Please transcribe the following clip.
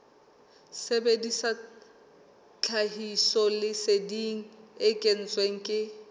sebedisa tlhahisoleseding e kentsweng ke